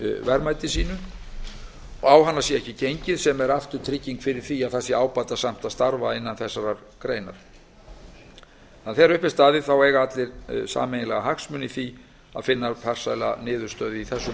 og að á hana sé ekki gengið sem er aftur trygging fyrir því að það sé ábatasamt að starfa innan þessarar greinar þegar upp er staðið eiga allir sameiginlega hagsmuni í því að finna farsæla niðurstöðu í þessu